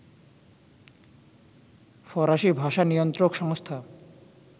ফরাসি ভাষা নিয়ন্ত্রক সংস্থা